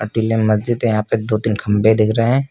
टीले महज़िद है यहां पे दो तीन खंभे दिख रहे हैं।